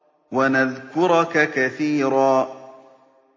وَنَذْكُرَكَ كَثِيرًا